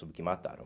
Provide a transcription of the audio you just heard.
Soube que mataram.